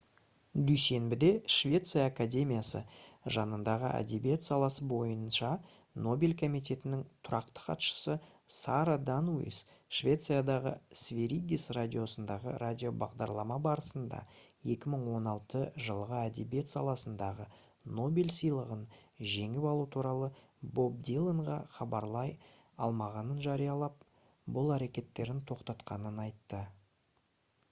дүйсенбіде швеция академиясы жанындағы әдебиет саласы бойынша нобель комитетінің тұрақты хатшысы сара даниус швециядағы сверигес радиосындағы радиобағдарлама барысында 2016 жылғы әдебиет саласындағы нобель сыйлығын жеңіп алу туралы боб диланға хабарлай алмағанын жариялап бұл әрекеттерін тоқтатқанын айтты